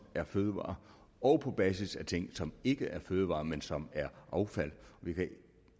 er fødevarer og på basis af ting som ikke er fødevarer men som er affald vi kan